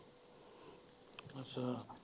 ਅੱਛਾ।